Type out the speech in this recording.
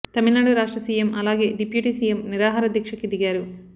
తమిళనాడు రాష్ట్ర సీఎం అలాగే deputy CM నిరాహార దీక్షకి దిగారు